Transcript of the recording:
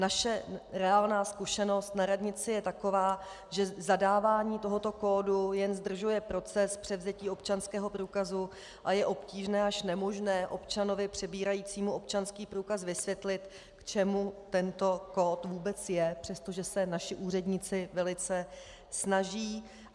Naše reálná zkušenost na radnici je taková, že zadávání tohoto kódu jen zdržuje proces převzetí občanského průkazu a je obtížné až nemožné občanovi přebírajícímu občanský průkaz vysvětlit, k čemu tento kód vůbec je, přestože se naši úředníci velice snaží.